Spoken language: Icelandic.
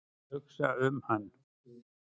Hugsa um hann.